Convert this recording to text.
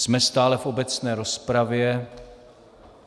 Jsme stále v obecné rozpravě.